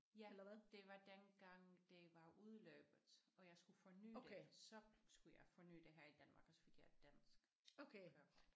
Ja det var dengang det var udløbet og jeg skulle forny det så skulle jeg forny det her i Danmark og så fik jeg et dansk kørekort